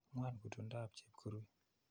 Ng'wan kutung'dap Chepkurui.